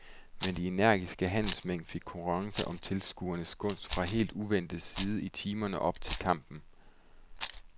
Men de energiske handelsmænd fik konkurrence om tilskuernes gunst fra helt uventet side i timerne op til kampen.